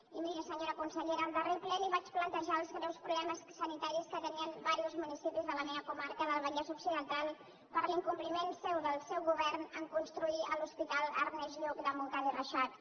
i miri senyora consellera al darrer ple li vaig plantejar els greus problemes sanitaris que tenien diversos municipis de la meva comarca del vallès occidental per l’incompliment seu del seu govern a construir l’hospital ernest lluch de montcada i reixac